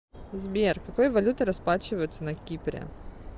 сбер какой валютой расплачиваются на кипре